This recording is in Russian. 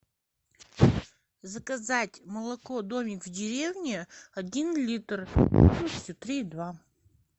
заказать молоко домик в деревне один литр жирностью три и два